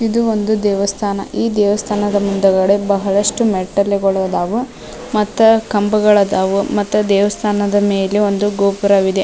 ಇದು ಒಂದು ದೇವಸ್ಥಾನ ಈ ದೇವಸ್ಥಾನದ ಮುಂದುಗಡೆ ಬಹಳಷ್ಟು ಮೆಟ್ಟಲುಗಳು ಅದಾವು ಮತ್ತು ಕಂಬಗಳು ಅದಾವು ಮತ್ತು ದೇವಸ್ಥಾನದ ಮೇಲೆ ಒಂದು ಗೋಪುರವಿದೆ .